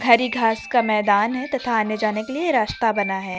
हरी घास का मैदान है तथा आने जाने के लिए रास्ता बना है।